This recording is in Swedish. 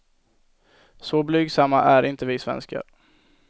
Så blygsamma är inte vi svenskar.